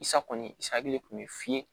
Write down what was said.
I sakɔni e hakili kun bɛ f'i ye